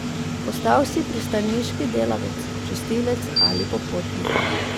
Postal si pristaniški delavec, čistilec ali popotnik.